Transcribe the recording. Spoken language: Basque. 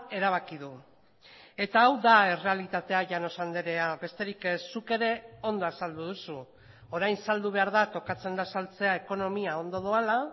erabaki du eta hau da errealitatea llanos andrea besterik ez zuk ere ondo azaldu duzu orain saldu behar da tokatzen da saltzea ekonomia ondo doala